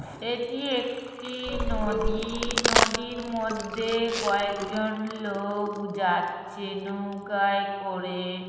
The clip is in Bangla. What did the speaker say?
এটি একটি নদী নদীর মধ্যে কয়েকজন লোক যাচ্ছে নৌকায় করে ।